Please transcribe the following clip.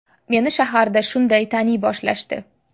Meni shaharda shunday taniy boshlashdi.